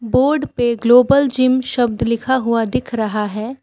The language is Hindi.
बोर्ड पे ग्लोबल जिम शब्द लिखा हुआ दिख रहा है।